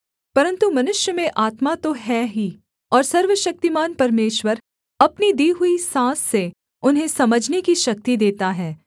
परन्तु मनुष्य में आत्मा तो है ही और सर्वशक्तिमान परमेश्वर अपनी दी हुई साँस से उन्हें समझने की शक्ति देता है